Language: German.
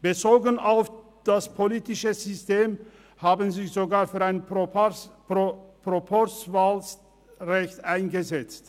Bezogen auf das politische System setzten sie sich sogar für ein Proporzwahlrecht ein.